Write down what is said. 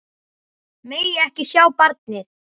Megi ekki sjá barnið.